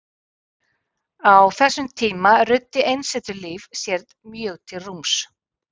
Á þessum tíma ruddi einsetulíf sér mjög til rúms.